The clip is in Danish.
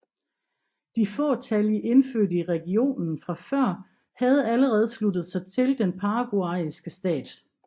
De fåtallige indfødte i regionen fra før havde allerede sluttet sig til den paraguayanske stat